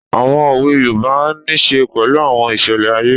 Àwọn òwe yoòbá nisè pẹ̀lú àwọn ìṣẹlẹ̀ ayé